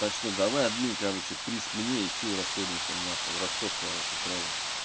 так что давай админ короче приз мне и всё и расходимся нахуй расход короче сразу